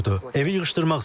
Evə yığışdırmaq istəyirəm.